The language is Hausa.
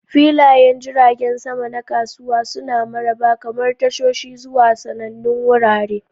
Filayen jiragen sama na kasuwa suna maraba, kamar tashoshi zuwa sanannun wurare.